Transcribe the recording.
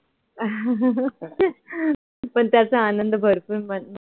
पण त्याचा आनंद भरपूर मन